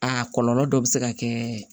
A kɔlɔlɔ dɔ bɛ se ka kɛ